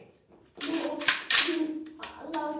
Nú er hún látin.